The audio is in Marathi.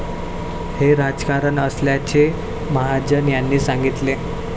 हे राजकारण असल्याचे महाजन यांनी सांगितले.